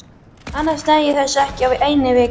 Annars næ ég þessu ekki á einni viku.